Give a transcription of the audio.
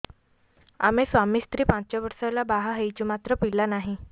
ଆମେ ସ୍ୱାମୀ ସ୍ତ୍ରୀ ପାଞ୍ଚ ବର୍ଷ ହେଲା ବାହା ହେଇଛୁ ମାତ୍ର ପିଲା ନାହିଁ